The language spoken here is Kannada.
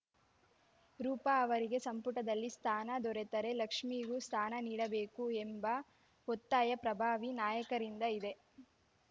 ರೂಪಾ ಅವರಿಗೆ ಸಂಪುಟದಲ್ಲಿ ಸ್ಥಾನ ದೊರೆತರೆ ಲಕ್ಷ್ಮೀಗೂ ಸ್ಥಾನ ನೀಡಬೇಕು ಎಂಬ ಒತ್ತಾಯ ಪ್ರಭಾವಿ ನಾಯಕರಿಂದ ಇದೆ